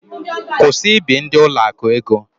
Kwụsị ị bi ndị ụlọakụ ego!